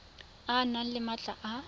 o nne le maatla a